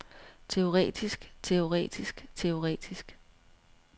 teoretisk teoretisk teoretisk